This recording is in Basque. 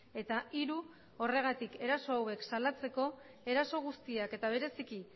eta hiru horregatik eraso hauek salatzeko eraso guztiak eta bereziki